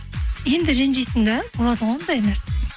енді ренжисің да болады ғой ондай нәрсе